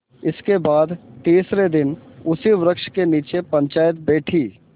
इसके बाद तीसरे दिन उसी वृक्ष के नीचे पंचायत बैठी